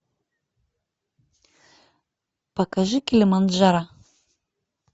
покажи килиманджаро